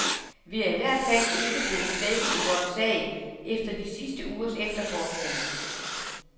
Vi er i hvert fald ikke blevet svækket i vores sag efter de sidste ugers efterforskning.